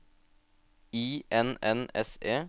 I N N S E